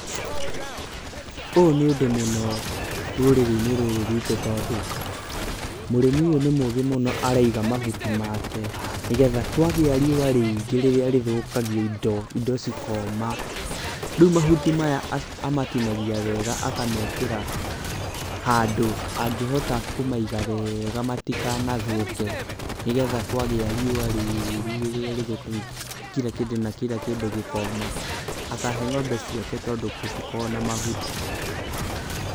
Ũyũ nĩ ũndũ mũno rũrĩrĩ-inĩ rũrũ rwitũ, tondũ mũrĩmi ũyũ nĩ mũũgĩ mũno tondũ araiga mahuti make, nĩgetha kwagĩa riũa rĩingĩ rĩrĩa rĩthũkagia indo, indo cikoma, rĩu mahuti maya amatinagia wega akamekĩra handũ angĩhota kũmaiga wega matikanathũke, nĩgetha kwagĩa riũa rĩũru rĩrĩa rĩthũkagia kira kĩndũ na kira kĩndũ gĩkoma, akahe ng'ombe ciake tondũ gũtikoragwo na mahuti.